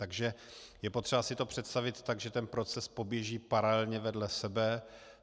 Takže je potřeba si to představit tak, že ten proces poběží paralelně vedle sebe.